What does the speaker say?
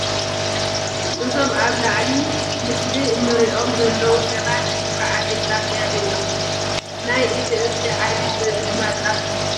እዛም ኣብ ላዕሊ ምስሊ እንሪኦም ዘለው ሰባት ወፍሪ ዓፂድ እናካየዱ እዮም ። ናይ እቲ እክሊ ዓይነት ዘርኢ ድማ ጣፍ ይባሃል።